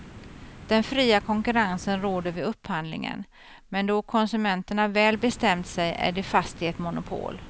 Den fria konkurrensen råder vid upphandlingen, men då konsumenterna väl bestämt sig är de fast i ett monopol.